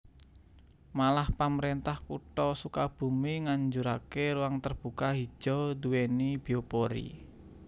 Malah pamrentah Kutha Sukabumi nganjurake ruang terbuka hijau duweni biopori